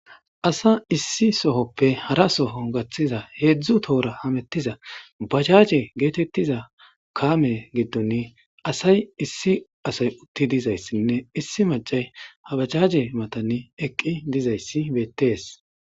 Asa issi sohoppe hara soho gaththiza heedzdzu toora hamettiza bacaje geetettiza kaame giddone asay issi asay utti dizayssinne issi macay habacaje matani eqqi dizayssi beettees.